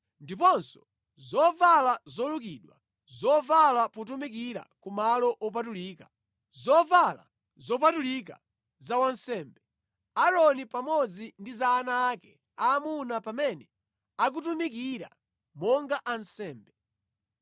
ndiponso zovala zolukidwa zovala potumikira kumalo opatulika, zovala zopatulika za wansembe, Aaroni pamodzi ndi za ana ake aamuna pamene akutumikira monga ansembe.